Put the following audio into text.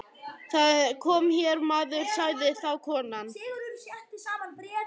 Það kom hér maður, sagði þá konan.